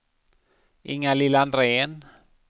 Inga-Lill Andrén